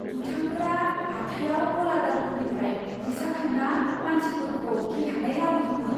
दुथांफोरा हाथाइयाव गलादारफोरनिफ्राय फैसा खांना मानसिफोरखौ गिखांनाय लाबोदोंमोन।